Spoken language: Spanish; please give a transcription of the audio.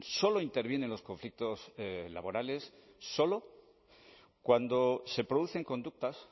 solo interviene en los conflictos laborales solo cuando se producen conductas